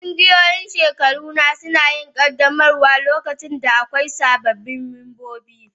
Ƙungiyoyin shekaru na suna yin ƙaddamarwa lokacin da akwai sababbin mambobi.